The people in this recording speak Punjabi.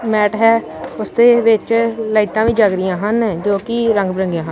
ਮੈਟ ਹੈ ਉਸਦੇ ਵਿੱਚ ਲਾਈਟਾਂ ਵੀ ਜੱਗਦੀਆਂ ਹਨ ਜੋ ਕਿ ਰੰਗ ਬਿਰੰਗੀਆਂ ਹਨ।